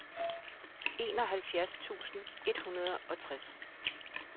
enoghalvfjerds tusind et hundrede og tres